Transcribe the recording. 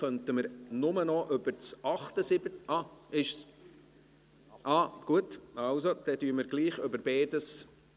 Auch gut, dann sprechen wir gleichwohl über beides.